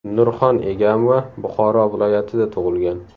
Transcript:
Nurxon Egamova Buxoro viloyatida tug‘ilgan.